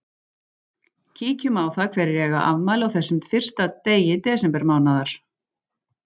Kíkjum á það hverjir eiga afmæli á þessum fyrsta degi desember mánaðar.